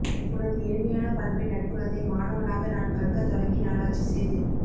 உனது எளிமையான பண்பை நற்குணத்தை மாணவனாக நான் கற்க தொடங்கிநாளாச்சு சேது